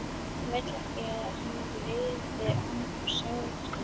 Hann vildi ekki að hann liði án sátta.